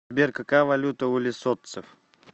сбер какая валюта у лесотцев